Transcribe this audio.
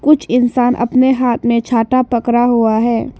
कुछ इंसान अपने हाथ में छाता पकड़ा हुआ है।